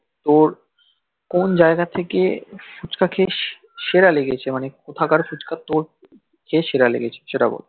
কোন জাইগা থেকে ফুচকা খেয়েছিস সেরা লেগেছে কথাকার ফুচকা তোর সেরা লেগেছে সেটা বল